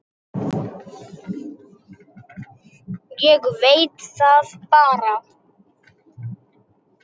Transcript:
Ég veit það bara.